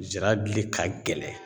Zira gili ka gɛlɛn